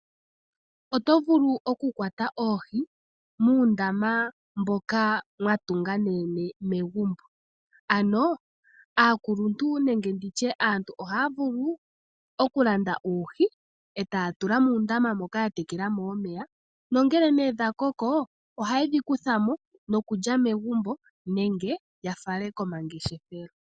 Oto vulu okukwata oohi muundama mboka mwatunga ne yene megumbo. Ano aakuluntu nenge nditye aantu ohaya vulu okulanda uuhi etaya tula muundama moka ya tekelamo omeya nongele nee dhakoko ohayedhi kuthamo nokulya megumbo nenge yafale komangeshefelo.